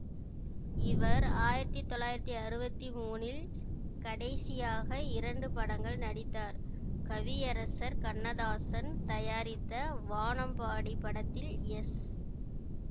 இவர் ஆயிரத்தி தொள்ளாயிரத்தி அறுவத்தி மூனில் கடைசியாக இரண்டு படங்கள் நடித்தார் கவியரசர் கண்ணதாசன் தயாரித்த வானம்பாடி படத்தில் எஸ்